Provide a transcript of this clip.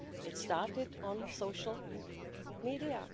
It started on social media.